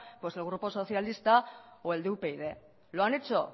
pues el grupo socialista o el de upyd lo han hecho